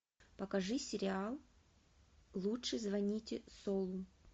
покажи сериал лучше звоните солу